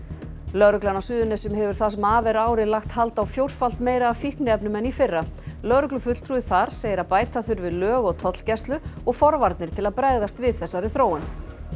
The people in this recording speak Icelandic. lögreglan á Suðurnesjum hefur það sem af er ári lagt hald á fjórfalt meira af fíkniefnum en í fyrra lögreglufulltrúi þar segir að bæta þurfi í lög og tollgæslu og forvarnir til að bregðast við þessari þróun